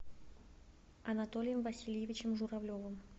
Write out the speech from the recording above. анатолием васильевичем журавлевым